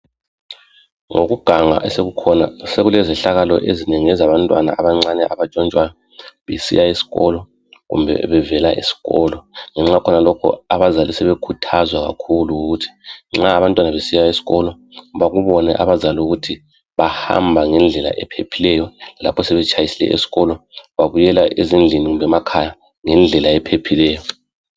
Ngokuganga osekukhona sekulezehlakalo ezinengi ezabantwana abancane abatshontshwayo besiya kumbe bevela esikolo ngenxa yakhonalokhu abazali sebekhuthazwa kakhulu ukuthi nxa abantwana besiya esikolo bakubone abazali ukuthi bahamba ngendlela ephephileyo lapho sebetshayisile esikolo babuyela ezindlini kumbe emakhaya ngendlela ephephileyo.